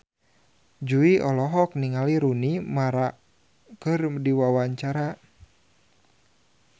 Jui olohok ningali Rooney Mara keur diwawancara